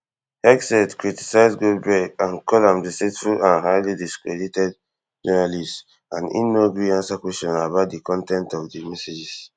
hegseth criticise goldberg and call am a deceitful and highly discredited journalist and e no gree ansa kwesions about di con ten t of di messages